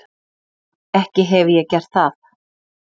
Ekki hefi ég gert það.